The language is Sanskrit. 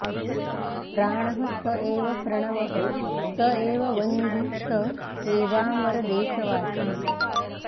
प्राणः स एव प्रणवः स एव वह्निः स एवाम्बरदेशवासी